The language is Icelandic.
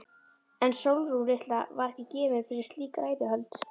En Sólrún litla var ekki gefin fyrir slík ræðuhöld.